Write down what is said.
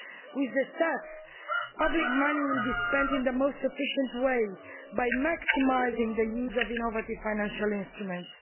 With the CEF, public money will be spent in the most efficient way by maximising the use of innovative financial instruments.